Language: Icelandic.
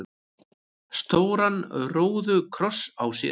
stóran róðukross á sér.